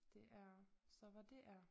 Det er så hvad det er